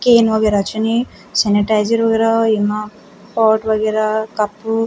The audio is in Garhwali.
केन वगेरा छिन यी और सेनीटाईजर वगेरा येमा पॉट वगेरा कप --